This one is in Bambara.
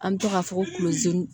An bɛ to k'a fɔ ko